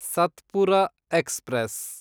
Satpura express